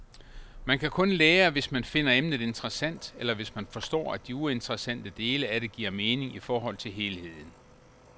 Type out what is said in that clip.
Man kan kun lære, hvis man finder emnet interessant, eller hvis man forstår, at de uinteressante dele af det giver mening i forhold til helheden.